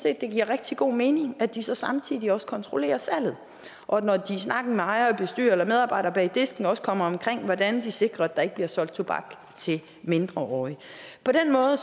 at det giver rigtig god mening at de så samtidig også kontrollerer salget og når de snakker med ejer bestyrer eller medarbejder bag disken også kommer omkring hvordan de sikrer at der ikke bliver solgt tobak til mindreårige på den måde